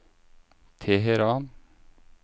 Teheran